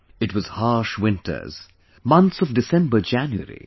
It was harsh winters, months of DecemberJanuary